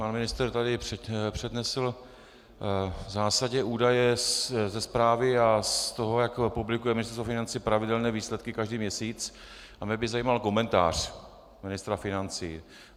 Pan ministr tady přednesl v zásadě údaje ze zprávy a z toho, jak publikuje Ministerstvo financí pravidelně výsledky každý měsíc, a mě by zajímal komentář ministra financí.